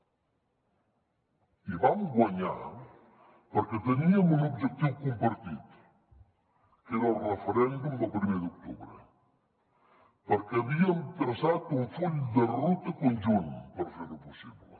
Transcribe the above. i vam guanyar perquè teníem un objectiu compartit que era el referèndum del primer d’octubre perquè havíem traçat un full de ruta conjunt per fer ho possible